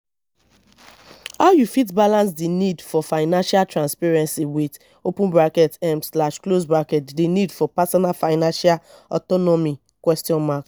how you fit balance di need for financial transparency with open bracket um slash close bracket di need for personal financial autonomy question mark